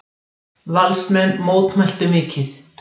Valsmenn mótmæltu mikið.